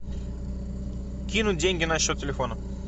кинуть деньги на счет телефона